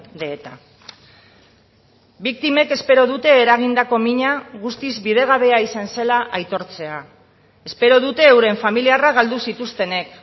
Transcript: de eta biktimek espero dute eragindako mina guztiz bidegabea izan zela aitortzea espero dute euren familiarra galdu zituztenek